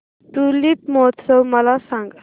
tulip महोत्सव मला सांग